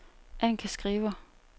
Annika Skriver